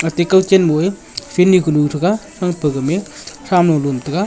te kawchen moe field kunu threga thrangpe gamey thramu lum taiga.